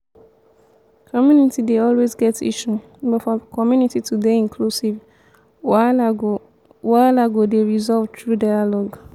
community dey always get issue but for community to dey inclusive wahala go wahala go dey resolved through dialogue